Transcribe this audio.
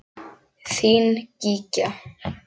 Þín Gígja.